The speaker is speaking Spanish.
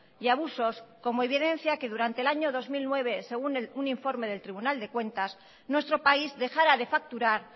y abusos como evidencia que durante el año dos mil nueve según un informe del tribunal de cuentas nuestro país dejara de facturar